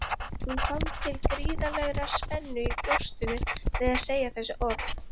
Hún fann til gríðarlegrar spennu í brjóstinu við að segja þessi orð.